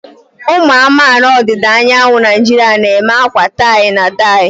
Ụmụ amaala ọdịda anyanwụ Naijiria na-eme akwa tie-na-ede.